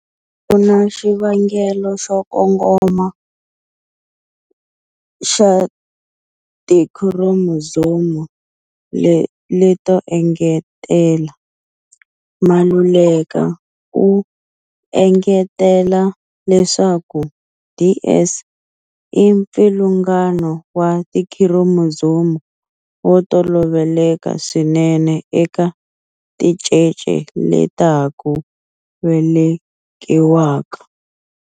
A ku na xivangelo xo kongoma xa tikhiromozomu leto engetela. Maluleka u engetela leswaku DS i mpfilungano wa tikhiromozomu wo toloveleka swinene eka tincece leta ha ku velekiwaka.